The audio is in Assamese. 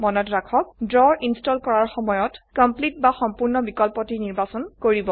মনত ৰাখক ড্ৰ ইনস্টল কৰাৰ সময়ত কমপ্লিট বা সম্পূৰ্ণ বিকল্পটি নিৰ্বাচন কৰিব